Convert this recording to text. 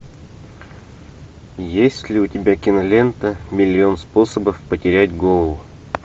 есть ли у тебя кинолента миллион способов потерять голову